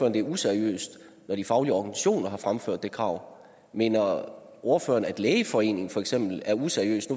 at det er useriøst når de faglige organisationer har fremført det krav mener ordføreren at lægeforeningen for eksempel er useriøs